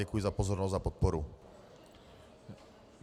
Děkuji za pozornost a podporu.